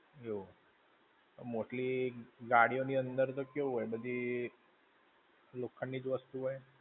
એવું મોટી ગાડીઓ ની અંદર તો કેવું હોય બધી લોખંડ ની જ વસ્તુઓ હોય.